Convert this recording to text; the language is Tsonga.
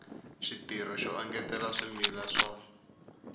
xitirho xo engetela swimila swa